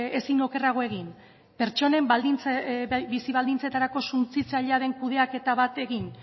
ezin okerrago egin pertsonen bizi baldintzetarako suntsitzailea den kudeaketa bat egin